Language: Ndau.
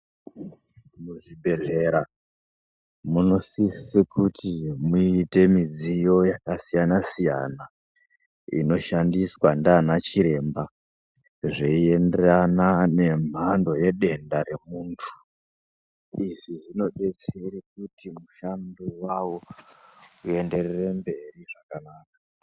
Muzvibhedhlera munosise kuti muite midziyo yakasiyanasiyana inoshandiswa ndiana chiremba zveienderana nemhando yedenda remunthu. Izvi zvinodetsere kuti mushando wawo uenderere mberi zvakanaka.